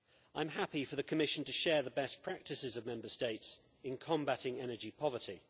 I am happy for the Commission to share the best practices of Member States in combating energy poverty.